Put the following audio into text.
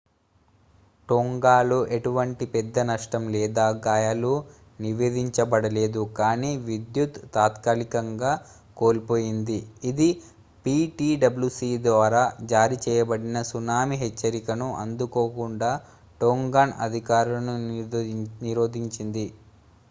టోంగాలో ఎటువంటి పెద్ద నష్టం లేదా గాయాలు నివేదించబడలేదు కానీ విద్యుత్ తాత్కాలికంగా కోల్పోయింది ఇది ptwc ద్వారా జారీ చేయబడిన సునామీ హెచ్చరికను అందుకోకుండా టోంగాన్ అధికారులను నిరోధించింది